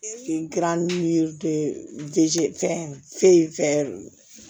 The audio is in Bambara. Gilan n'u ye fɛn